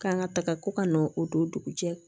K'an ka taga ko ka n'o don dugu jɛ